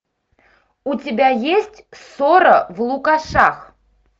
у тебя есть ссора в лукашах